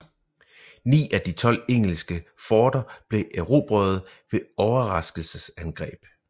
Ni af de tolv engelske forter blev erobrede ved overraskelsesangreb